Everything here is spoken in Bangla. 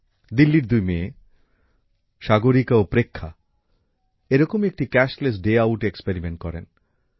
দিল্লির দুই মেয়ে সাগরিকা ও প্রেক্ষা এরকমই একটি নগদবিহীন দিন কাটালেন